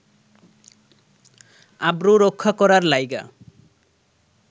আব্রু রক্ষা করার লাইগ্যা